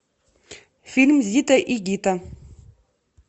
фильм зита и гита